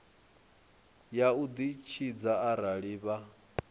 ya u ditshidza arali vha